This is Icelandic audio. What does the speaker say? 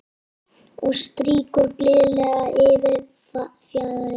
Og strýkur blíðlega yfir fjaðrirnar.